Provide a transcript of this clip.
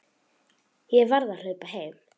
Ég verð að hlaupa heim.